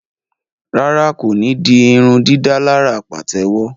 Rárá, ko ní dì irundidalara patewo